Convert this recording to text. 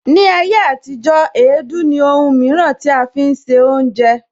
Ni ayé àtijó, èédú ní Òhùn mìíràn tí a fi ń se oúnjẹ